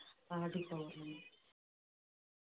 ஆடி பௌர்ணமி